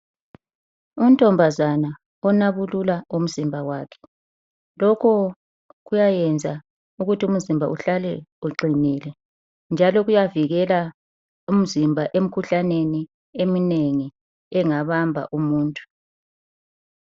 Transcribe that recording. Untombazana onabulula umzimba wakhe, lokhu kuyayenza ukuthi umzimba uhlale uqinile njalo kuyavikela umzimba emikhuhlaneni eminengi engabamba umuntu.